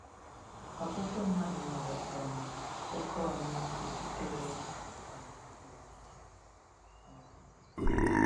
Ọtụtụ mmadụ nwere um oke ọmịiko sitere um n’okike. n’okike.